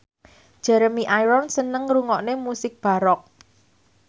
Jeremy Irons seneng ngrungokne musik baroque